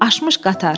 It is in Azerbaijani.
Aşmış qatar.